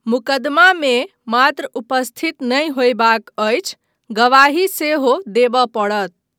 मुकदमामे मात्र उपस्थित नहि होयबाक अछि, गवाही सेहो देबय पड़त।